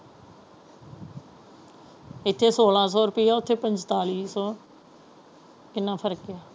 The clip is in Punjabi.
ਕਿੱਥੇ ਸੁਲਾਹ ਸੋ ਰੁਪਈਆ ਉੱਥੇ ਪੰਤਾਲੀ ਸੋ ਕਿੰਨਾ ਫਰਕ ਹੈ।